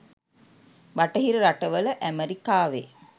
බටහිර රටවල ඈමරිකාවෙ